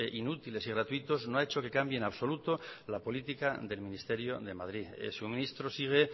inútiles y gratuitos no ha hecho que cambie en absoluto la política del ministerio de madrid su ministro sigue